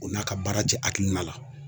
O n'a ka baara te hakilina la.